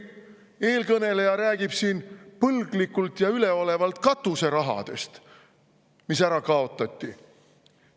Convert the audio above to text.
Eelkõneleja rääkis siin põlglikult ja üleolevalt katuserahast, mis ära kaotati.